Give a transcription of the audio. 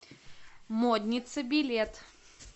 модница билет